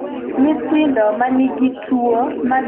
Nyithindo ma nigi tuwo mag pien del ne ywak ni owegi